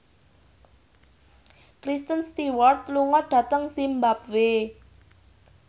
Kristen Stewart lunga dhateng zimbabwe